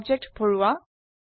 বস্তু ভৰাও